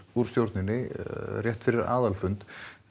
úr stjórninni rétt fyrir aðalfund